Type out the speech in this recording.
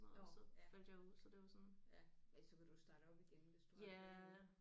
Nåh ja ja ja så kan du starte op igen hvis du har en mulighed